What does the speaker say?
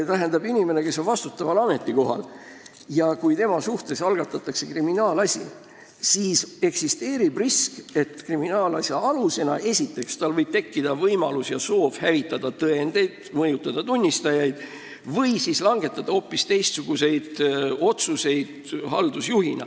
Inimese puhul, kes on vastutaval ametikohal ja kelle suhtes algatatakse kriminaalasi, eksisteerib risk, et tal võib tekkida võimalus ja soov hävitada kriminaalasja aluseks olevaid tõendeid, mõjutada tunnistajaid või langetada haldusjuhina hoopis teistsuguseid otsuseid.